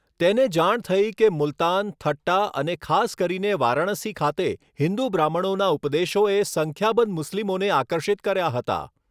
તેને જાણ થઈ કે મુલ્તાન, થટ્ટા અને ખાસ કરીને વારાણસી ખાતે, હિન્દુ બ્રાહ્મણોના ઉપદેશોએ સંખ્યાબંધ મુસ્લિમોને આકર્ષિત કર્યા હતા.